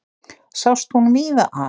Sást hún víða að.